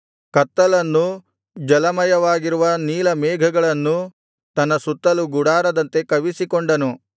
ಕತ್ತಲನ್ನೂ ಜಲಮಯವಾಗಿರುವ ನೀಲಮೇಘಗಳನ್ನೂ ತನ್ನ ಸುತ್ತಲೂ ಗುಡಾರದಂತೆ ಕವಿಸಿಕೊಂಡನು